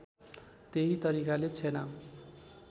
त्यही तरिकाले छेना